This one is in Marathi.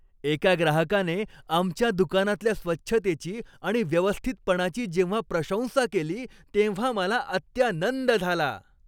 एका ग्राहकाने आमच्या दुकानातल्या स्वच्छतेची आणि व्यवस्थितपणाची जेव्हा प्रशंसा केली तेव्हा मला अत्यानंद झाला.